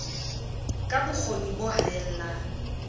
ka bo kgoni bo haellang